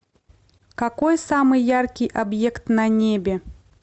какой самый яркий объект на небе